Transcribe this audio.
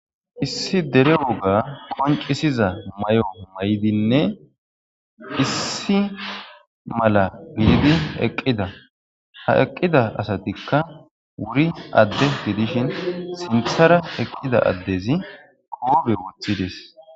Issi dere woga qoncisiza mayo mayidinne issi mala gididi eqqida. Ha eqqida asatikka wuri adde gidishin sinthara eqqida addezi koogbe woththides.